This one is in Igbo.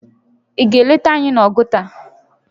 Ị ga-eleta anyị n'Oguta?